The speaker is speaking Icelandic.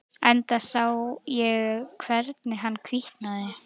Enda sá ég hvernig hann hvítnaði.